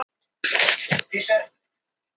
Eins og það var líka léttir að ná fyrsta sigrinum.